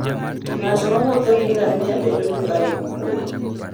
Ng'at mowuotho gi ngamia bedo gi paro mokuwe.